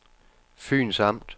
Fyns Amt